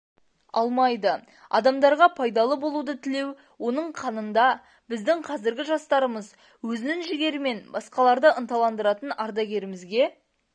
алмайды адамдарға пайдалы болуды тілеу оның қанында біздің қазіргі жастарымыз өзінің жігерімен басқаларды ынталандыратын ардагерімізге